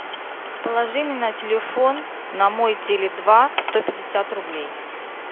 положи мне на телефон на мой теле два сто пятьдесят рублей